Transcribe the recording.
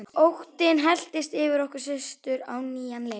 Óttinn helltist yfir okkur systur á nýjan leik.